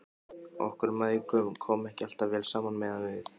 Okkur mæðgum kom ekki alltaf vel saman meðan við